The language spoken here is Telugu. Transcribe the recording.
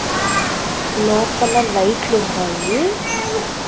లోపల లైట్లున్నాయి .